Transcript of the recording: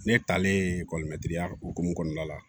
Ne talen ekɔlimɛtiriya hukumu kɔnɔna la